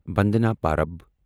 بندنا پرب